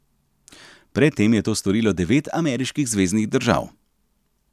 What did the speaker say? Pred tem je to storilo devet ameriških zveznih držav.